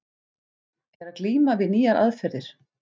Er að glíma við nýjar aðferðir.